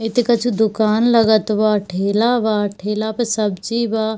इ त कुछो दोकान लगत बा ठेला बा ठेला पे सब्जी बा।